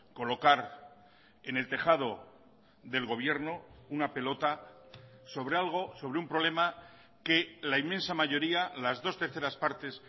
colocar en el tejado del gobierno una pelota sobre algo sobre un problema que la inmensa mayoría las dos terceras partes